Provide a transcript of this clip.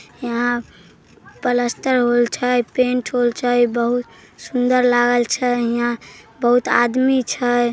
हीया पलस्तर होल छै पेंट होल छै बहुत सुन्दर लागल छै हीया बहुत आदमी छै ।